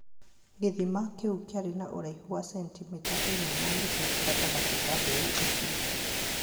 Gĩthima kĩu kĩarĩ na ũraihu wa sentimita ĩmwe na nuthu gatagatĩ ka mbeũ icio.